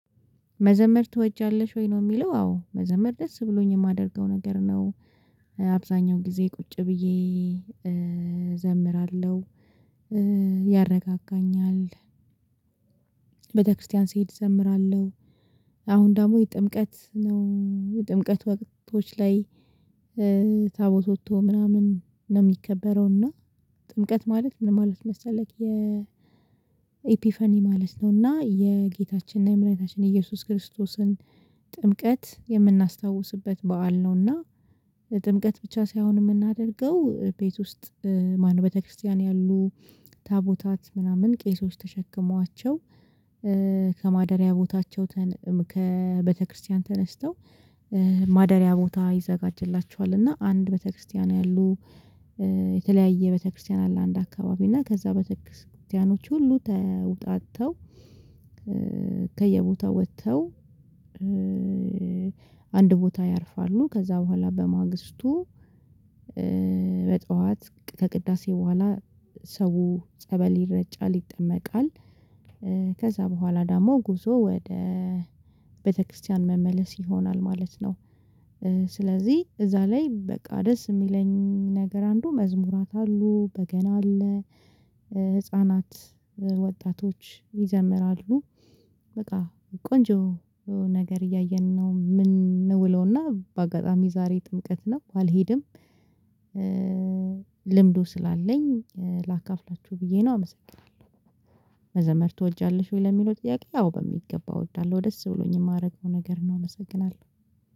መዘመር ትወጃለሽ ወይ? ነው የሚለው አዎ መዘመር ደስ ብሎኝ የማደርገው ነገር ነው፣ አብዛኛው ጊዜ ቁጭ ብዬ እዘምራለሁ ያረጋጋኛል ቤተክርስቲያን ስሄድ እዘምራለሁ አሁን ደግሞ ጥምቀት ነው የጥምቀት ወቅቶች ላይ ታቦት ወጥቶ ምናምን ነው የሚከበረው እና ጥምቀት ማለት ምን ማለት መሰለህ የ ኤፒፈኒ ማለት ነው እና የጌታችንና የመዳኒታችን የኢየሱስ ክርስቶስን ጥምቀት የምናስታውስበት በዓል ነውና ጥምቀት ብቻ ሳይሆን የምናደርገው ቤት ውስጥ ማነው ክርስቲያን ያሉ ታቦታት ምናምን ቄሶች ተሸክመዋቸው ከማደሪያ ቦታቸው ከቤተክርስቲያን ተነስተው ማደሪያ ቦታ ይዘጋጅላቸዋል እና አንድ ቤተክርስቲያን ያሉ የተለያየ ቤተክርስቲያን አለ አንድ አካባቢ እና ከዛ ቤተ ክርስቲያኖች ሁሉ ተውጣጥተው ከየቦታው ወጥተው አንድ ቦታ ያርፋሉ፣ ከዛ በኋላ በማግስቱ በጠዋት ከቅዳሴ በኋላ ሰው ጸበል ይረጫል፣ ይጠመቃል፣ ከዛ በኋላ ደግሞ ጉዞ ወደ ቤተክርስቲያን መመለስ ይሆናል ማለት ነው። ስለዚህ እዛ ላይ በቃ ደስ የሚለኝ ነገር አንዱ መዝሙራት አሉ፣ በገና አለ፣ ህፃናት ወጣቶች ይዘምራሉ በቃ ቆንጆ ነገር እያየን ነው የምንውለውና በአጋጣሚ ዛሬ ጥምቀት ነው ባልሄድም ልምዱ ስላለኝ ላካፍላችሁ ብዬ ነው አመሰግናለሁ። መዘመር ትወጃለሽ ወይ ለሚለው ጥያቄ ያው በሚገባ እወዳለሁ ደስ ብሎኝ የማረገው ነገር ነው አመሰግናለሁ።